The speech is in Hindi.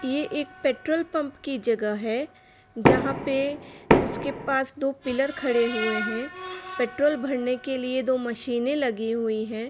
ये एक पेट्रोल पंप की जगह है जहाँ पे उसके पास दो पिलर खड़े हुए हैं पेट्रोल भरने के लिए दो मशीन लगी हुई हैं।